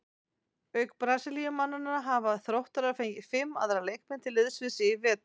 Auk Brasilíumannanna hafa Þróttarar fengið fimm aðra leikmenn til liðs við sig í vetur.